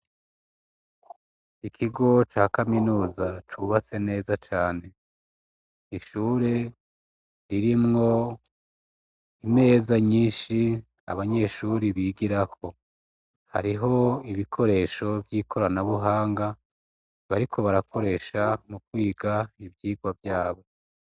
Ikigo ca kaminuza cubase neza cane ishure ririmwo imeza nyinshi abanyeshuri bigirako hariho ibikoresho vy'ikoranabuhanga bariko barakoresha mu kwiga ibyiwa wa vyabo.